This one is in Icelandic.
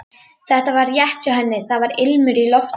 Þetta var rétt hjá henni, það var ilmur í loftinu.